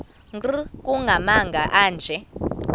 nkr kumagama anje